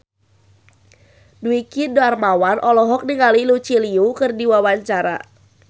Dwiki Darmawan olohok ningali Lucy Liu keur diwawancara